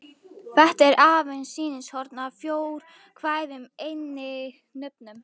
Þetta er aðeins sýnishorn af fjórkvæðum eiginnöfnum.